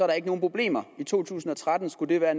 der ikke nogen problemer i to tusind og tretten skulle det være